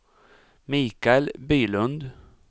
Mikael Bylund